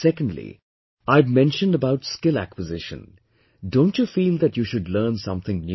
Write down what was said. Secondly I had mentioned about skill acquisition, don't you feel that you should learn something new